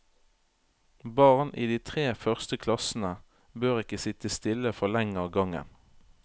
Barn i de tre første klassene bør ikke sitte stille for lenge av gangen.